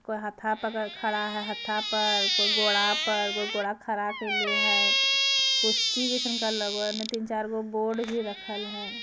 कोए हाथा पकड़ के खड़ा है हथा पर कोए गोड़ा पर कोए गोड़ा खड़ा कैले है कुस्ती जइसन का लगो है एने तीन-चार गो बोर्ड भी रखल है।